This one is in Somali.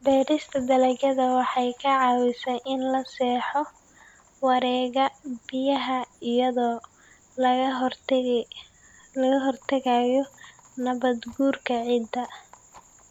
Beerista dalagyada waxay ka caawisaa in la saxo wareegga biyaha iyadoo laga hortagayo nabaad-guurka ciidda.